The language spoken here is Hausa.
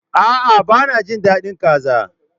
A'a, ba na jin dadin kaza.